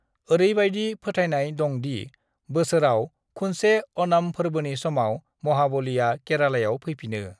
ओरैबायदि फोथायनाय दं दि बोसोराव खुनसे ओणम फोर्बोनि समाव महाबलीआ केरालायाव फैफिनो।